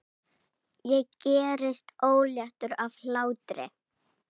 Ég gerist óléttur af hlátri.